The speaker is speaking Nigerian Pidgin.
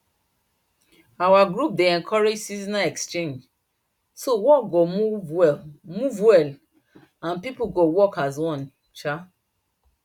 our group dey encourage seasonal exchange so work go move well move well and people go work as one um